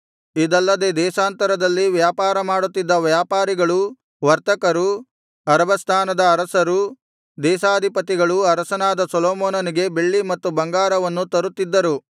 ಇದಲ್ಲದೆ ದೇಶಾಂತರದಲ್ಲಿ ವ್ಯಾಪಾರಮಾಡುತ್ತಿದ್ದ ವ್ಯಾಪಾರಿಗಳೂ ವರ್ತಕರೂ ಅರಬಸ್ಥಾನದ ಅರಸರೂ ದೇಶಾಧಿಪತಿಗಳೂ ಅರಸನಾದ ಸೊಲೊಮೋನನಿಗೆ ಬೆಳ್ಳಿ ಮತ್ತು ಬಂಗಾರವನ್ನು ತರುತ್ತಿದ್ದರು